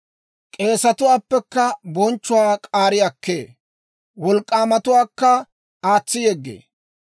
K'eesetuwaappekka bonchchuwaa k'aari akkee; wolk'k'aamatuwaakka aatsi yeggee.